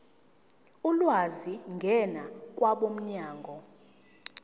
ulwazi ngena kwabomnyango